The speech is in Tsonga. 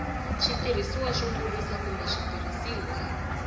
switirhisiwa swo kurisa kumbe switirhisiwa